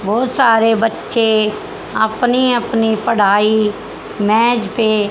बहुत सारे बच्चे अपनी अपनी पढ़ाई मेज पे--